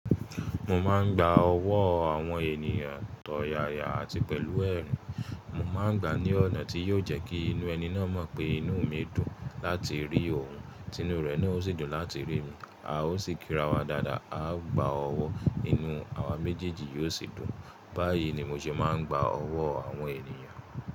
Mo máa ń gba ọwọ́ àwọn ènìyàn tọ̀yàyà àti pẹ̀lú ẹ̀rùn, mo máa ń gbà á ní ọ̀nà tí yóò jẹ́ kí inú ẹni náà mọ̀ pé inú mi dùn láti rí òun, tí inú rẹ̀ náà ó sì dùn láti rí mi, a ó sì kírawọ́ dáadáa, a gba ọwọ́, inú àwa méjèèjì yóò sì dùn. Báyìí ni mo ṣe máa ń gba ọwọ́ àwọn ènìyàn.